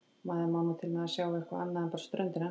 Maður má nú til með að sjá eitthvað annað en bara ströndina.